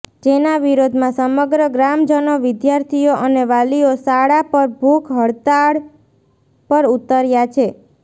જેના વિરોધમાં સમગ્ર ગ્રામજનો વિદ્યાર્થીઓ અને વાલીઓ શાળા પર ભૂખ હડતાળ પર ઉતર્યા છે